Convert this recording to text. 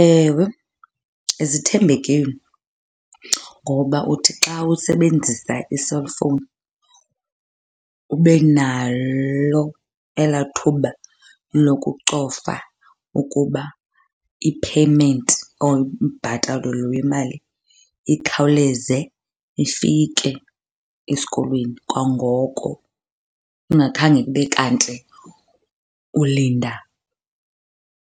Ewe, zithembekile ngoba uthi xa usebenzisa i-cellphone ube nalo elaa thuba lokucofa ukuba i-payment or umbhatalo lo wemali ikhawuleze ifike esikolweni kwangoko ungakhange kube kanti ulinda